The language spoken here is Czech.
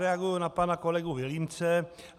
Reaguji na pana kolegu Vilímce.